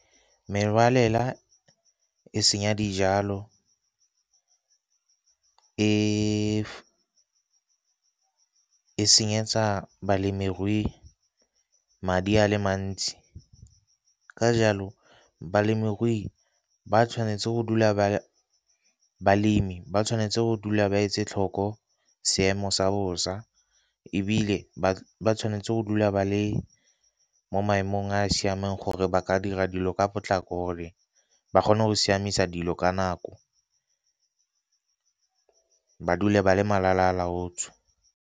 Merwalela e senya dijalo e senyetsa balemirui madi a le mantsi. Ka jalo balemi ba tshwanetse go dula ba etse tlhoko seemo sa bosa, ebile ba tshwanetse go dula ba le mo maemong a a siameng gore ba ka dira dilo ka potlako gore ba kgone go siamisa dilo ka nako ba dula ba le malala a laotswe.